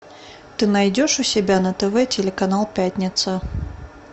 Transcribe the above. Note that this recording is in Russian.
ты найдешь у себя на тв телеканал пятница